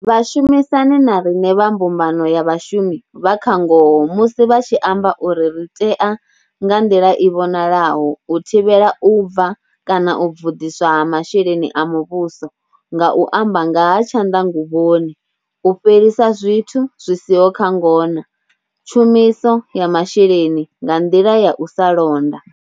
Vhashumisani na riṋe vha mbumbano ya vhashumi vha kha ngoho musi vha tshi amba uri ri tea nga nḓila i vhonalaho u thivhela u bva kana u bvuḓiswa ha masheleni a muvhuso nga u amba nga ha tshanḓanguvhoni, u fhelisa zwithu zwi si ho kha ngona, tshumiso ya masheleni nga nḓila ya u sa londa.